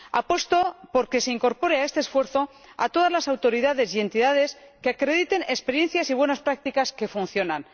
Apuesto por que se incorporen a este esfuerzo todas las autoridades y entidades que acrediten experiencias y buenas prácticas que funcionan.